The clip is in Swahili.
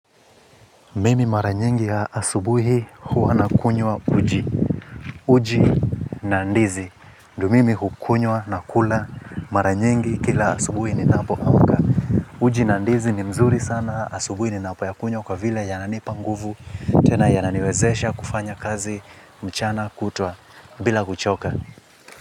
Mimi mara nyingi ya asubuhi huwa nakunywa uji. Uji na ndizi ndio mimi hukunywa na kula mara nyingi kila asubuhi ninapoamka. Uji na ndizi ni mzuri sana. Asubuhi ninapoyakunywa kwa vile yananipa nguvu. Tena yananiwezesha kufanya kazi mchana kutwa bila kuchoka.